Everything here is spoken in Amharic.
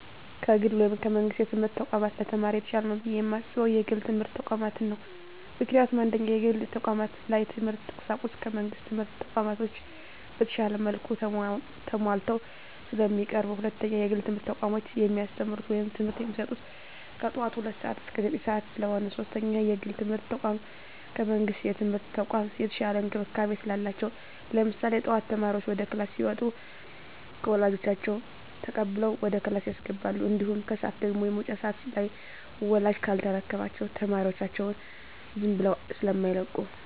ከግል ወይም ከመንግስት የትምህርት ተቋማት ለተማሪ የተሻለ ነው ብየ የማስበው የግል የትምህርት ተቋማትን ነው። ምክንያቱም፦ 1ኛ, የግል ተቋማት ላይ የትምህርት ቁሳቁሱ ከመንግስት ትምህርት ተቋማቶች በተሻለ መልኩ ተማሟልተው ስለሚቀርቡ። 2ኛ, የግል የትምህርት ተቋሞች የሚያስተምሩት ወይም ትምህርት የሚሰጡት ከጠዋቱ ሁለት ሰዓት እስከ ዘጠኝ ሰዓት ስለሆነ። 3ኛ, የግል የትምርት ተቋም ከመንግስት የትምህርት ተቋም የተሻለ እንክብካቤ ስላላቸው። ለምሳሌ ጠዋት ተማሪዎች ወደ ክላስ ሲመጡ ከወላጆች ተቀብለው ወደ ክላስ ያስገባሉ። እንዲሁም ከሰዓት ደግሞ የመውጫ ሰዓት ላይ ወላጅ ካልተረከባቸው ተማሪዎቻቸውን ዝም ብለው ስማይለቁ።